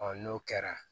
n'o kɛra